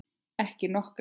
Ekki nokkra.